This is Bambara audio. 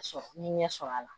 Ka sɔrɔ n ye ɲɛ sɔrɔ a la